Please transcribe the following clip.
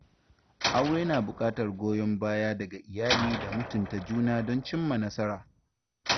Aure na bukatar goyon baya daga iyali da mutunta juna don cimma nasara.